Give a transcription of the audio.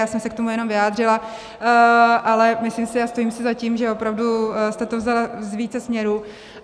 Já jsem se k tomu jenom vyjádřila, ale myslím si, a stojím si za tím, že opravdu jste to vzala z více směrů.